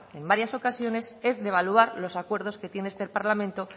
en varias ocasiones es devaluar los acuerdos que tiene este parlamento